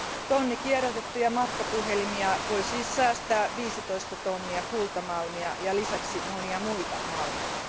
Tonni kierrätettyjä matkapuhelimia voi siis säästää 15 tonnia kultamalmia ja lisäksi monia muita malmeja.